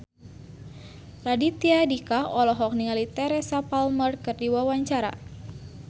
Raditya Dika olohok ningali Teresa Palmer keur diwawancara